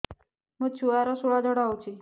ମୋ ଛୁଆର ସୁଳା ଝାଡ଼ା ହଉଚି